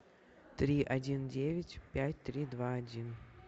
три один девять пять три два один